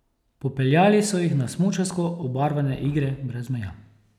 Popeljali so jih na smučarsko obarvane Igre brez meja.